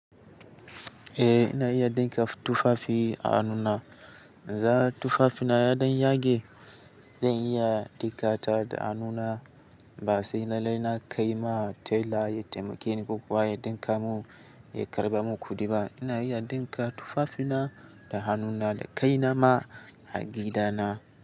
Eh ina iya dinka tufafi a hannuna. In za tufafina ya dan yage, zan iya ɗinkata da hannuna ba sai lalle na kai ma tela ya taimake ni ko kuwa ya ɗinka mun ya karɓa mun kuɗi ba. Ina iya dinka tufafina da hannuna da kaina ma a gida na.